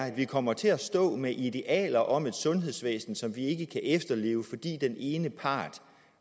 at vi kommer til at stå med idealer om et sundhedsvæsen som vi ikke kan efterleve fordi den ene part